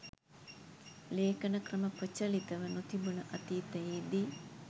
ලේඛන ක්‍රම ප්‍රචලිතව නොතිබුන අතීතයේදී